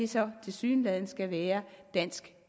så tilsyneladende skal være dansk